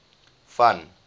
van